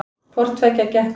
Hvorttveggja gekk upp